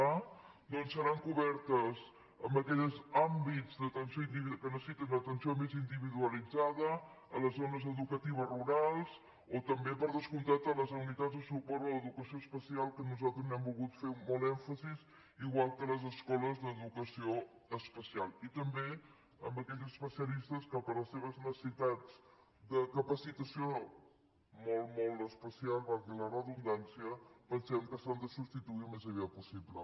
a doncs seran cobertes en aquells àmbits que necessiten d’atenció més individualitzada a les zo·nes educatives rurals o també per descomptat a les unitats de suport a l’educació especial que nosaltres n’hem volgut fer molt èmfasi igual que les escoles d’educació especial i també en aquells especialistes que per les seves necessitats de capacitació molt molt especial valgui la redundància pensem que s’han de substituir al més aviat possible